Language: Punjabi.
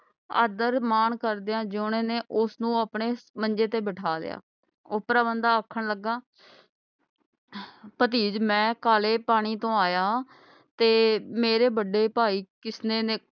ਆਦਰ ਮਾਨ ਕਰਦਿਆਂ ਜੋਹਣੇ ਨੇ ਉਸ ਨੂੰ ਆਪਣੇ ਮੰਜੇ ਤੇ ਬੈਠਾ ਲਿਆ। ਉਪਰਾ ਬੰਦਾ ਆਖਣ ਲਗਾ ਭਤੀਜ ਮੈਂ ਕਾਲੇ ਪਾਣੀ ਤੋਂ ਆਇਆ ਹਾਂ ਤੇ ਮੇਰੇ ਬੜੇ ਭਾਈ ਕਿਸਨੇ ਨੇ